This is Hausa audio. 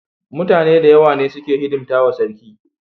Mutane dayawa ne suke hidimtawa sarki